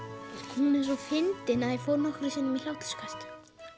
hún er svo fyndin að ég fór nokkrum sinnum í hláturskast